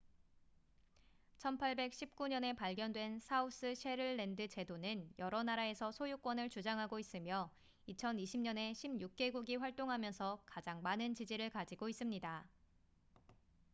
1819년에 발견된 사우스셰틀랜드 제도는 여러 나라에서 소유권을 주장하고 있으며 2020년에 16개국이 활동하면서 가장 많은 기지를 가지고 있습니다